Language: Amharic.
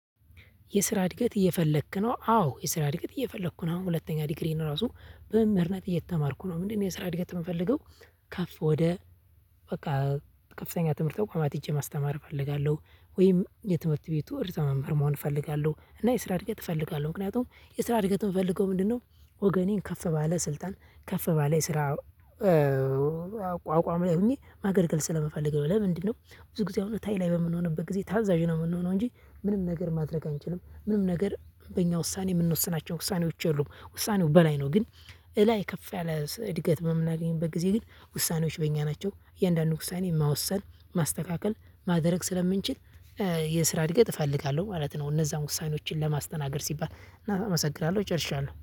የስራ እድገት እየፈለክ ነው አዎ የስራ እድገት እየፈለኩ ነው አሁን ሁለተኛ ዲግሪዬን እራሱ በመምህርነት እየተማርኩ ነው ምንድነው የስራ እድገት የምፈልገው? ከፍ ወደ በቃ ከፍተኛ ትምህርት ተቋማት ሄጄ ማስተማር እፈልጋለሁ። ወይም የትምህርት ቤቱ ርዕስ መምህር መሆን እፈልጋለሁ እና የስራ እድገት እፈልጋለሁ። ምክንያቱም የስራ እድገት ምፈልገው ምንድነው? ወገኔን ከፍ ባለ ስልጣን ከፍ ባለ የስራ ቋቋም ላይ ሆኜ ማገልገል ስለምፈልግ ነው። ለምንድነው? ብዙ ጊዜ አሁን ታች ላይ በምንሆንበት ጊዜ ታዛዥ ነው የምንሆነው እንጂ ምንም ነገር ማድረግ አንችልም ምንም ነገር በእኛ ውሳኔ የምንወስናቸው ውሳኔዎች የሉም። ውሳኔው በላይ ነው። ግን እላይ ከፍ ያለ እድገት የምናገኝበት ጊዜ ግን ውሳኔዎች በእኛ ናቸው። እያንዳንዱ ውሳኔ መወሰን ማስተካከል ማደረግ ስለምንችል የስራ እድገት እፈልጋለሁ ማለት ነው። እነዛን ውሳኔዎችን ለማስተናገድ ሲባል እና አመሰግራለሁ እጨርሻለሁ።